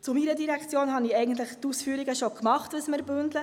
Zu meiner Direktion habe ich die Ausführungen schon gemacht, was wir bündeln.